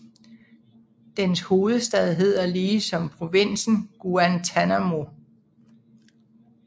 Dens hovedstad hedder lige som provinsen Guantanamo